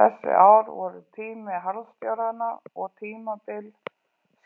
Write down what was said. Þessi ár voru tími harðstjóranna og tímabil